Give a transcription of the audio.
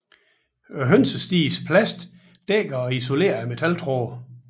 Hønsestigens plast dækker og isolerer metaltrådene